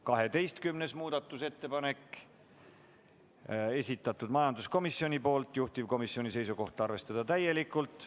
12. muudatusettepaneku on esitanud majanduskomisjon, juhtivkomisjoni seisukoht on arvestada seda täielikult.